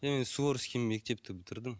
мен суворский мектепті бітірдім